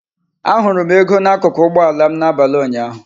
Ahụrụ m ego n'akụkụ ụgbọ ala m n'abalị ụnyaahụ.